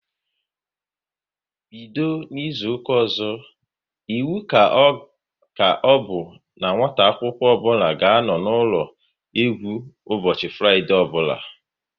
Bido n'izuka ọzọ, iwu ka ọbụ n'nwata akwụkwọ ọbụla ga-anọ n'ụlọ egwu ụbọchị Fraịdee ọbụla